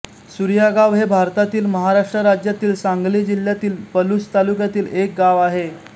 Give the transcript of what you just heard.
सुर्यागाव हे भारतातील महाराष्ट्र राज्यातील सांगली जिल्ह्यातील पलुस तालुक्यातील एक गाव आहे